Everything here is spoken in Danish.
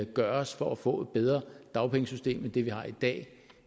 gøres for at få et bedre dagpengesystem end det vi har i dag